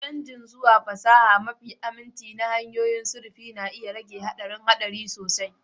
Canji zuwa fasaha mafi aminci da hanyoyin sufuri na iya rage haɗarin haɗari sosai.